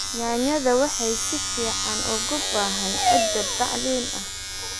Yaanyada waxay si fiican uga baxaan ciidda bacrin ah.